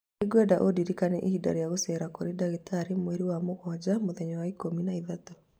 Nĩngwenda ndiriikania ihinda rĩa gũceera kũrĩ ndagĩtarĩ Mweri wa mũgwanja mũthenya wa ikũmi na ĩtatũ